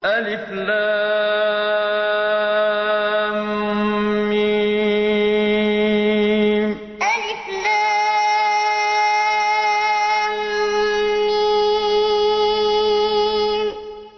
الم الم